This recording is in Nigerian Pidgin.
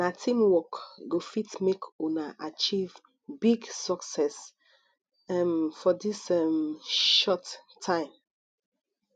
na teamwork go fit make una achieve big success um for dis um short time